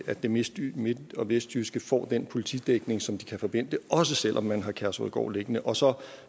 at det midt og vestjyske får den politidækning som de kan forvente også selv om man har kærshovedgård liggende og så